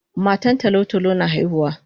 Matan tolo tolo na haihuwa